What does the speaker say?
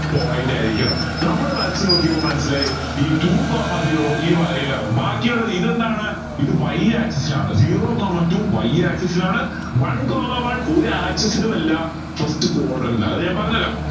point ആയിരിക്കണം നമ്മൾ വരച് നോക്കിയപ്പോ മനസ്സിലായി ഈ two coma zero ഈ വരയിലാണ് ബാക്കി ഉള്ളത് ഇത് എന്താണ് ഇത് y axis ലാണ് zero coma two y axis ലാണ് one coma one ഒരു axis ലും അല്ല first അത് ഞാൻ പറഞ്ഞരാം